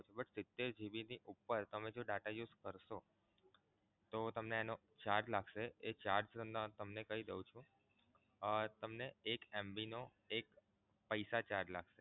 but સિતેર GB ની ઉપર તમે જો data use કરશો તો તમને એનો charge લાગશે એ charge એ તમને કહી દવ છું અમ તમને એક MB નો એક પૈસા charge લાગશે.